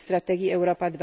w strategii Europa